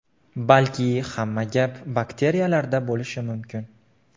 Balki hamma gap bakteriyalarda bo‘lishi ham mumkin.